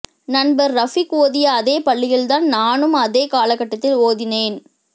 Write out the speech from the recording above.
நண்பர் ரஃபீக் ஓதிய அதே பள்ளியில்தான் நானும் அதே காலகட்டத்தில் ஓதினேன்